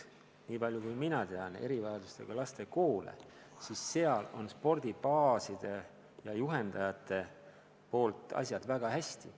Niipalju kui mina tean erivajadustega laste koole, siis seal on spordibaaside ja juhendajatega asjad väga hästi.